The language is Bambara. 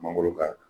Mangoro ka